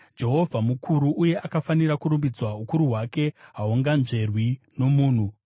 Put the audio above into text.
Jehovha mukuru uye akafanira kurumbidzwa; ukuru hwake hahunganzverwi nomunhu.